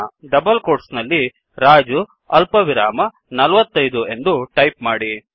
double quote ನಲ್ಲಿ ರಾಜು ಅಲ್ಪವಿರಾಮ 45 ಎಂದು ಟೈಪ್ ಮಾಡಿ